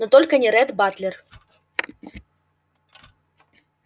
но только не ретт батлер